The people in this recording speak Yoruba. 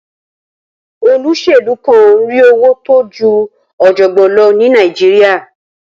Olóṣèlú kan ń rí owó tó ju ọ̀jọ̀gbọ́n lọ ní Nàìjíríà.